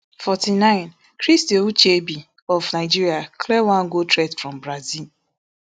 forty-nine christy ucheibe of nigeria clear one goal threat from brazil